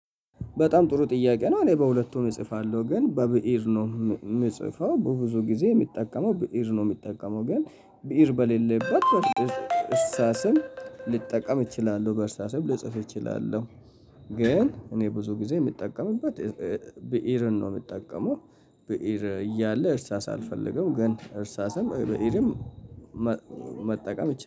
በጣም ጥሩ ጥያቄ ነው እኔ በሁለቱም እጽፋለሁ። ግን በብእር ነው የምጽፈው በብዙ ጊዜ የሚጠቀመው ብእር ነው የምጠቀመው ግን ብእር በሌለበት በእርሳስም ልጠቀም እችላለሁ። በእርሳስም ልጽፍ እችላለሁ ግን እኔ ብዙ ጊዜ የምጠቀምበት ብእርን ነው የምጠቀመው ብእር እያለ እርሳስ አልፈልገውም ግን እርሳስም ብእርም መጠቀም